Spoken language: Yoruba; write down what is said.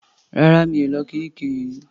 Rárá. Mi ò lọ kiríkirì rí.